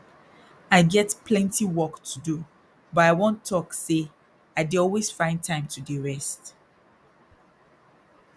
i get plenty work to do but i wan talk say i dey always find time to dey rest